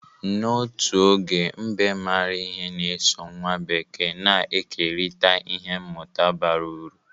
N'otu oge, mbe maara ihe na-eso nwa bekee na-ekerịta ihe mmụta bara uru.